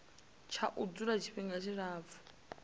tsha u dzula tshifhinga tshilapfu